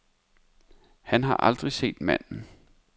Han har aldrig set manden.